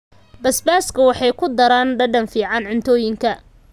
Basbaaska waxay ku daraan dhadhan fiican cuntooyinka.